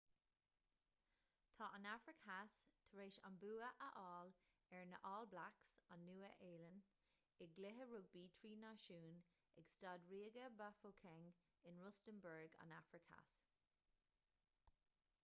tá an afraic theas tar éis an bua a fháil ar na all blacks an nua-shéalainn i gcluiche rugbaí trí náisiún ag staid ríoga bafokeng in rustenburg an afraic theas